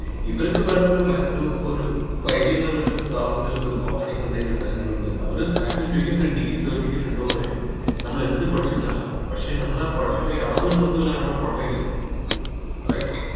ഇവർക്ക് വേണ്ടത് മെ ഒരു ഇപ്പൊ ഒരു ഇപ്പൊ ഐ ബി എം എന്നുള്ളത് സ്ഥാപനത്തിലെ ഇപ്പൊ ഒരു opening ഉണ്ടെങ്കിൽ ബാംഗ്ലൂരിലെ അവര് maximum ചോദിക്കാ degree certificate ഉണ്ടോന്ന് ചോദിക്കുന്നത് നമ്മൾ എന്ത് പഠിച്ചു എന്നല്ല പക്ഷേ നമ്മൾ പഠിച്ച പോയ യാതൊരു ബന്ധവുമില്ലാ നമ്മളെ profile ല് right